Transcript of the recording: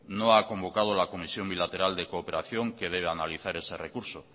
no ha convocado la comisión bilateral de cooperación que debe analizar ese recurso